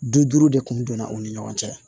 Bi duuru de kun donna u ni ɲɔgɔn cɛ